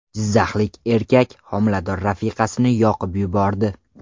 Jizzaxlik erkak homilador rafiqasini yoqib yubordi.